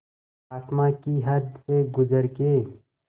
आसमां की हद से गुज़र के